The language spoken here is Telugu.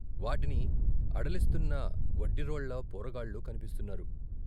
వాటిని అడిలిస్తున్న వడ్డిరోళ్ళ పోరగాళ్ళు కన్పిస్తున్నారు.